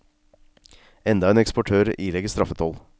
Enda en eksportør ilegges straffetoll.